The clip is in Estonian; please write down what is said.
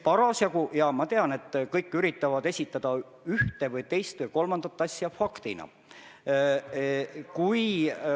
Jaa, ma tean, et kõik üritavad ühte või teist või kolmandat asja faktina esitada.